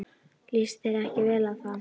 Líst þér ekki vel á það?